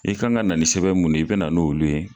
I ka kan ka na sɛbɛn mun i ye i bɛ na n'olu ye.